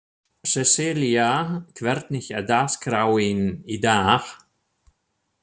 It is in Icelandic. Sesselía, hvernig er dagskráin í dag?